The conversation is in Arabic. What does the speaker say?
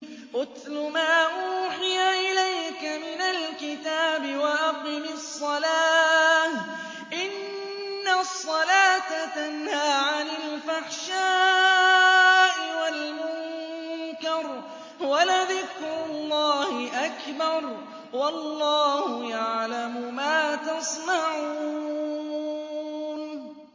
اتْلُ مَا أُوحِيَ إِلَيْكَ مِنَ الْكِتَابِ وَأَقِمِ الصَّلَاةَ ۖ إِنَّ الصَّلَاةَ تَنْهَىٰ عَنِ الْفَحْشَاءِ وَالْمُنكَرِ ۗ وَلَذِكْرُ اللَّهِ أَكْبَرُ ۗ وَاللَّهُ يَعْلَمُ مَا تَصْنَعُونَ